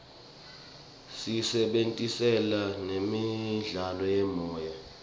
siyisebentisela nemidlalo yemoya